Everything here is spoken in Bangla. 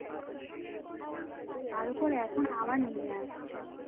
তার ওপরে এখন আবার নিয়ে আসছে